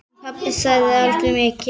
En pabbi sagði aldrei mikið.